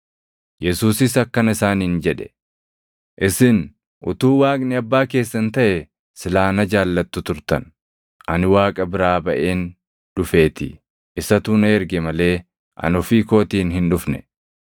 Yesuusis akkana isaaniin jedhe; “Isin utuu Waaqni abbaa keessan taʼee silaa na jaallattu turtan; ani Waaqa biraa baʼeen dhufeetii. Isatu na erge malee ani ofii kootiin hin dhufne.